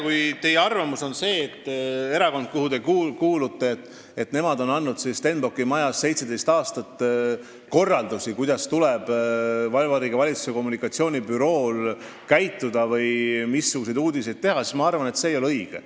Kui teie arvamus on selline, et erakond, kuhu te kuulute, andis Stenbocki majas 17 aastat korraldusi, kuidas tuleb Vabariigi Valitsuse kommunikatsioonibürool käituda või missuguseid uudiseid teha, siis ma arvan, et see ei ole õige.